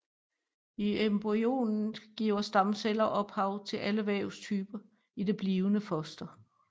I embryonet giver stamceller ophav til alle vævstyper i det blivende foster